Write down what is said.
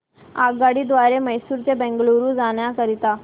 आगगाडी द्वारे मैसूर ते बंगळुरू जाण्या करीता